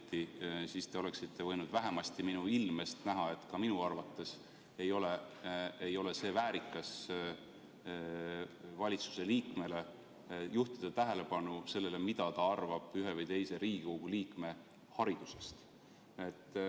siis oleksite võinud vähemasti minu ilmest näha, et ka minu arvates ei ole valitsuse liikmel väärikas juhtida tähelepanu sellele, mida ta arvab ühe või teise Riigikogu liikme haridusest.